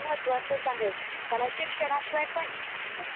त camera मी थोडा वर करतो. त्यामुळे तुम्हाला व्यवस्थित प्रश्न दिसेल.